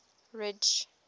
ridge